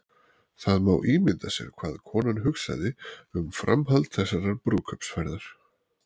Það má ímynda sér hvað konan hugsaði um framhald þessarar brúðkaupsferðar.